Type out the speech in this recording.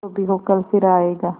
जो भी हो कल फिर आएगा